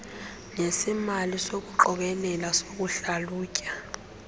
nesemali sokuqokelela sokuhlalutya